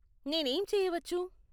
నేనేం చేయవచ్చు?